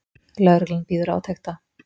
Lögreglan bíður átekta